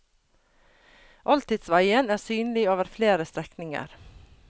Oldtidsveien er synlig over flere strekninger.